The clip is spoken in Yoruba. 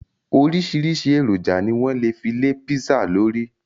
Oríṣìíríṣìí èròjà ni wọ́n lè fi lé písà lórí.